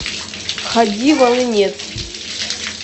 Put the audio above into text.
хади волынец